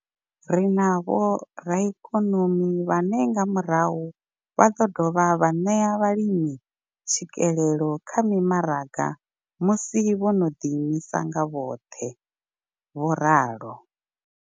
Ri na vhoraikonomi vhane nga murahu vha ḓo dovha vha ṋea vhalimi tswikelelo kha mimaraga musi vho no ḓi imisa nga vhoṱhe, vho ralo.